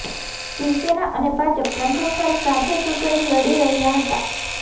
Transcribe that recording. શિવસેના અને ભાજપ પ્રથમવાર સાથે ચૂંટણી લડી રહી હતા